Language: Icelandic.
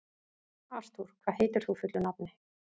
Artúr, hvað heitir þú fullu nafni?